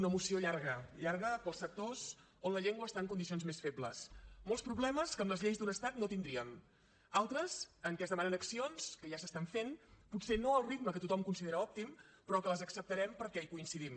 una moció llarga llarga per als sectors on la llengua està en condicions més febles molts problemes que amb les lleis d’un estat no tindríem altres en què es demanen accions que ja s’estan fent potser no al ritme que tothom considera òptim però que les acceptarem perquè hi coincidim